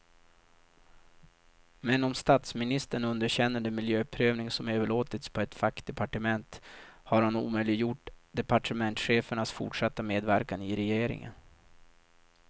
Men om statsministern underkänner den miljöprövning som överlåtits på ett fackdepartement, har han omöjliggjort departementschefens fortsatta medverkan i regeringen.